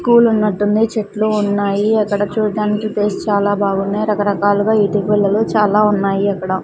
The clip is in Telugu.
పూలు ఉన్నట్టుంది చెట్లు ఉన్నాయి అక్కడ చూడ్డానికి ప్లేస్ చాలా బాగున్నాయ్ రకరకాలుగా ఇటిక్ గుళ్ళలు చాలా ఉన్నాయి అక్కడ.